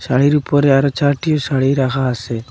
শাড়ির উপরে আরো চারটি শাড়ি রাখা আছে।